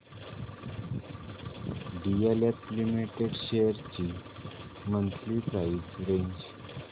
DLF limited shares ची monthly price range